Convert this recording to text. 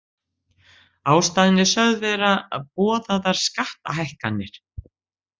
Ástæðan er sögð vera boðaðar skattahækkanir